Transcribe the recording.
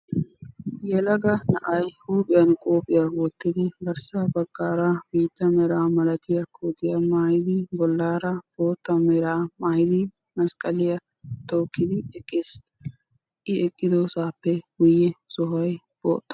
Yelaga na'ay huuphiyan qophiya wottidi, garssa baggaara biitta meraa milatiya kootiya maayidi, bollaara bootta meraa maayidi masqqaliya tookkidi eqqiis. I eqqidosaappe guyye sohoy bootta.